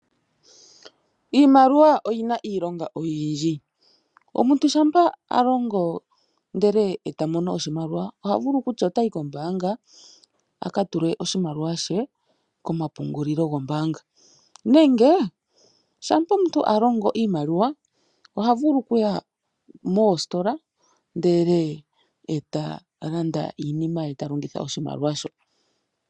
Iimaliwa oyina iilonga oyindji. Omuntu shampa alongo ndelw tamono oshimaliwa ohavulu okutya otayi kombaanga akatule oshimaliwa she komapungulilo gombaanga nenge shampa omuntu alongo iimaliwa ohavulu okuya moositola ndele ta landa iinima ye talongitha oshimaliwa shoka.